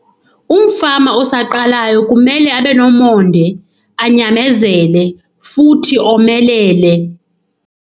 Umfama osaqalayo kumele abe nomonde, anyamezele, futhi omelele.